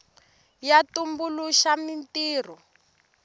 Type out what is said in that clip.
ya tumbuluxa mintirho